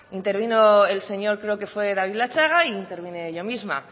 intervino creo el señor david latxaga e intervine yo misma